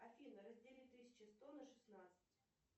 афина раздели тысяча сто на шестнадцать